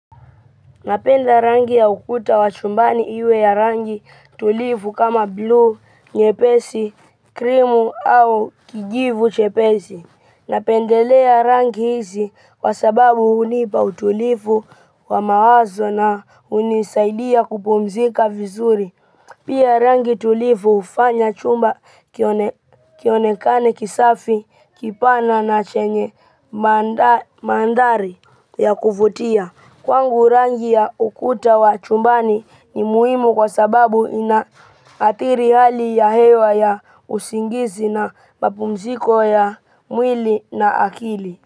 Napenda rangi ya ukuta wa chumbani iwe ya rangi tulivu kama blue, nyepesi, krimu au kijivu chepesi. Napendelea rangi hizi kwa sababu unipa utulivu wa mawazo na hunisaidia kupumzika vizuri. Pia rangi tulivu hufanya chumba kione kionekane kisafi, kipana na chenye manda mandhari ya kuvutia. Kwangu rangi ya ukuta wa chumbani ni muhimu kwa sababu inaathiri hali ya hewa ya usingizi na mapumziko ya mwili na akili.